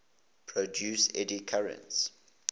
produce eddy currents